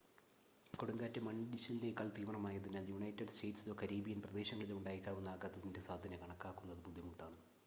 കൊടുങ്കാറ്റ് മണ്ണിടിച്ചിലിനേക്കാൾ തീവ്രം ആയതിനാൽ യുണൈറ്റഡ് സ്റ്റേറ്റ്സിലോ കരീബിയൻ പ്രദേശങ്ങളിലോ ഉണ്ടായേക്കാവുന്ന ആഘാതത്തിൻ്റെ സാധ്യത കണക്കാക്കുന്നത് ബുദ്ധിമുട്ടാണ്